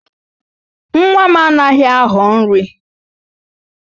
Nwa m anaghị aghọ nri